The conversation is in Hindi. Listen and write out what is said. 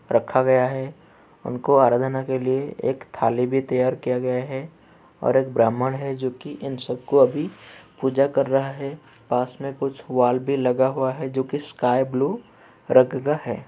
रखा गया है उनको अराधना के लिए एक थाली भी तैयार किया गया है और एक ब्राह्मण है जोकि इन सब को अभी पूजा कर रहा है। पास में कुछ वॉल भी लगा हुआ है जोकि स्काई-ब्लू रंग का है।